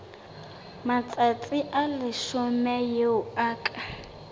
matsatsi a leshome eo ka